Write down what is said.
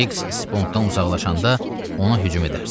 Krix spontdan uzaqlaşanda ona hücum edərsən.